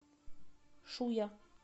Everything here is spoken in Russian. шуя